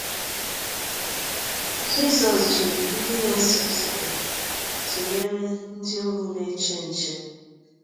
Jesu ji ndị na-eso ụzọ ya tụnyere ndị ohu na-eche nche.